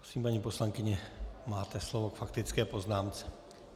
Prosím, paní poslankyně, máte slovo k faktické poznámce.